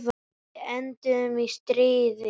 Við enduðum í stríði.